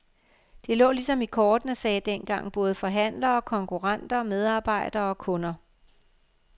Det lå ligesom i kortene, sagde dengang både forhandlere, konkurrenter, medarbejdere og kunder.